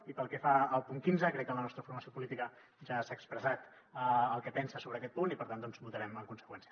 i pel que fa al punt quinze crec que la nostra formació política ja ha expressat el que pensa sobre aquest punt i per tant votarem en conseqüència